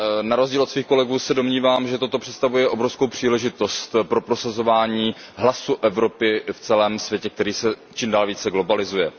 Na rozdíl od svých kolegů se domnívám, že to představuje obrovskou příležitost pro prosazování hlasu Evropy v celém světě, který se čím dál více globalizuje.